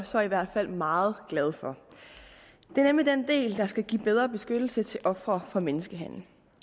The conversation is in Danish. så i hvert fald meget glad for det er nemlig den del der skal give bedre beskyttelse til ofre for menneskehandel